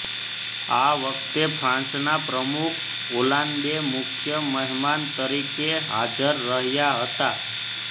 આ વખતે ફ્રાન્સના પ્રમુખ ઓલાન્દે મુખ્ય મહેમાન તરીકે હાજર રહ્યા હતા